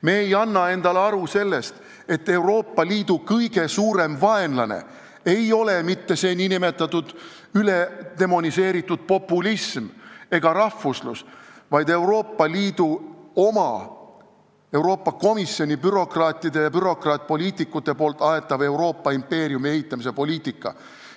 Me ei anna endale aru sellest, et Euroopa Liidu kõige suurem vaenlane ei ole mitte nn üledemoniseeritud populism ega rahvuslus, vaid Euroopa Liidu oma Euroopa impeeriumi ehitamise poliitika, mida ajavad Euroopa Komisjoni bürokraadid ja bürokraatpoliitikud ning